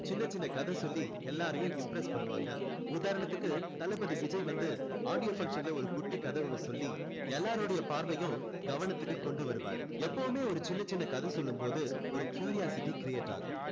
சின்ன சின்ன கதை சொல்லி எல்லாரையும் impress பண்ணுவாங்க உதாரணத்துக்கு தளபதி விஜய் வந்து audio function ல ஒரு குட்டி கதை ஒண்ணு சொல்லி எல்லாருடைய பார்வையும் கவனத்துக்கு கொண்டு வருவாரு எப்பொவுமே ஒரு சின்ன சின்ன கதை சொல்லும் போது ஒரு curiosity create ஆகும்